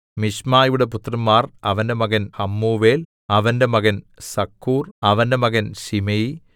മിശ്മയുടെ പുത്രന്മാർ അവന്റെ മകൻ ഹമ്മൂവേൽ അവന്റെ മകൻ സക്കൂർ അവന്റെ മകൻ ശിമെയി